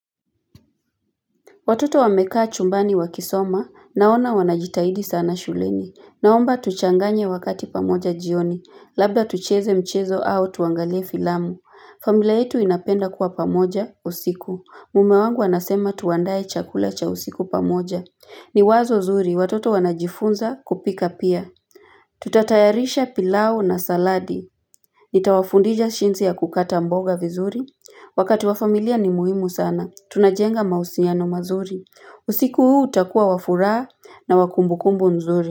Watoto wamekaa chumbani wakisoma naona wanajitahidi sana shuleni. Naomba tuchanganye wakati pamoja jioni. Labda tucheze mchezo au tuangalie filamu. Familia yetu inapenda kuwa pamoja usiku. Mume wangu anasema tuandae chakula cha usiku pamoja. Ni wazo zuri. Watoto wanajifunza kupika pia. Tutatayarisha pilau na saladi. Nitawafundisha jinsi ya kukata mboga vizuri. Wakati wa familia ni muhimu sana. Tunajenga mahusiano mazuri. Usiku huu utakuwa wa furaha na wa kumbukumbu nzuri.